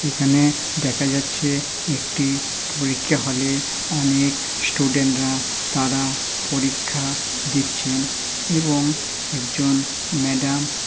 এখানে দেখা যাচ্ছে একটি পরীক্ষা হলে অনেক স্টুডেন্ট রা তারা পরীক্ষা দিচ্ছেন এবং একজন ম্যাডাম --